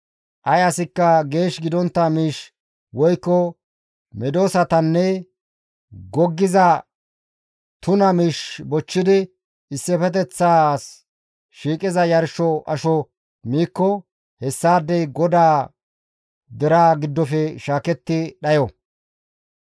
Ay asikka geesh gidontta miish woykko medosatanne goggiza tuna miish bochchidi issifeteththas shiiqiza yarsho asho miikko hessaadey GODAA deraa giddofe shaaketti dhayo.› »